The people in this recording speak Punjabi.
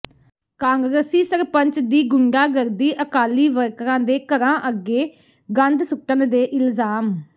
ਕਾਂਗਰਸੀ ਸਰਪੰਚ ਦੀ ਗੁੰਡਾਗਰਦੀ ਅਕਾਲੀ ਵਰਕਰਾਂ ਦੇ ਘਰਾਂ ਅੱਗੇ ਗੰਦ ਸੁੱਟਣ ਦੇ ਇਲਜ਼ਾਮ